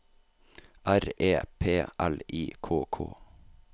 R E P L I K K